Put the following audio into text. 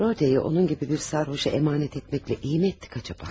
Rodaya'yı onun gibi bir sarhoşa emanet etmekle iyi mi ettik acaba?